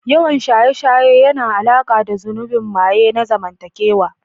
Yawan shaye-shaye yana da alaƙa da zunubin maye na zamantakewa.